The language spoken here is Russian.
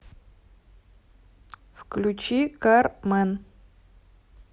включи кар мэн